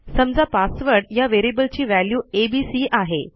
समजा पासवर्ड या व्हेरिएबलची व्हॅल्यू एबीसी आहे